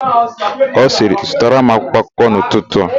Ọ sịrị, "zụtara m akwụkwọakụkọ n'ụtụtụ a"!.